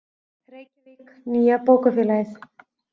Reykjavík, Nýja bókafélagið.